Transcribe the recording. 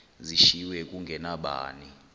zishiywe zinge nabani